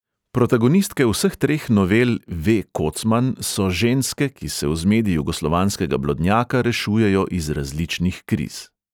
Protagonistke vseh treh novel ve| kocman so ženske, ki se v zmedi jugoslovanskega blodnjaka rešujejo iz različnih kriz.